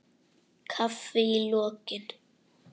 Kaffi í lokin.